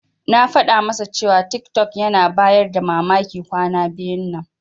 Na faɗa masa cewa tiktok yana bayar da mamaki kwana biyun nan.